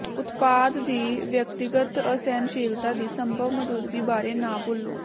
ਉਤਪਾਦ ਦੀ ਵਿਅਕਤੀਗਤ ਅਸਹਿਣਸ਼ੀਲਤਾ ਦੀ ਸੰਭਵ ਮੌਜੂਦਗੀ ਬਾਰੇ ਨਾ ਭੁੱਲੋ